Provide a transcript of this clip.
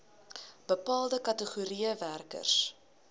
bepaalde kategorieë werkers